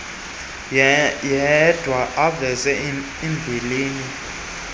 yedwa aveze imbilini